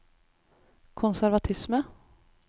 konservatisme